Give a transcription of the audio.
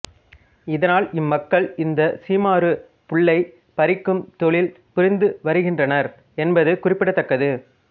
இதனால் இம்மக்கள் இந்த சீமாறு புல்லை பறிக்கும் தொழில் புரிந்து வருகின்றனர் என்பது குறிப்பிடத்தக்கது